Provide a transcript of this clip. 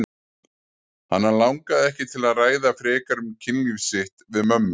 Hana langaði ekki til að ræða frekar um kynlíf sitt við mömmu.